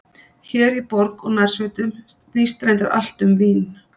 Hér í borg og nærsveitum snýst reyndar allt um vín.